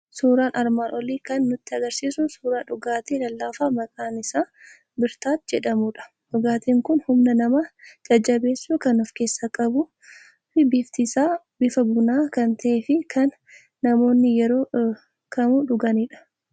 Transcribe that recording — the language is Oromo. Suuraan armaan olii kan nutti argisiisu suuraa dhugaatii lallaafaa maqaan isaa Birtaat edhamudha. Dhugaatiin kun humna nama jajjabeessuu kan of keessaa qabu, lifting isaa bifa bunaa kan ta'ee fi kan namoonni yeroo danuu dhuganidha.